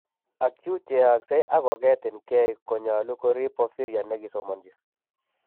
Acute cheyakse ak koketin keey konyalu korib porphyria ne kisomanchi